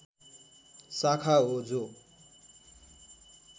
शाखा हो जो